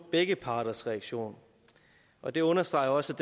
begge parters reaktion og det understreger også